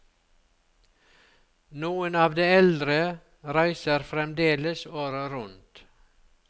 Noen av de eldre reiser fremdeles året rundt.